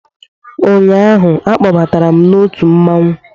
Ụnyaahụ, a kpọbatara m n'otu mmanwụ